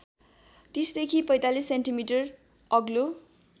३० देखि ४५ सेन्टिमिटर अग्लो